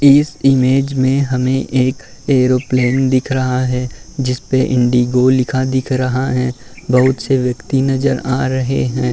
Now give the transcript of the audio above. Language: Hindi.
इस इमेज हमें एक ऐरोप्लेन दिख रहा है। जिसपे इंडिगो लिखा दिख रहा है। बहोत से व्यक्ति नजर आ रहे हैं।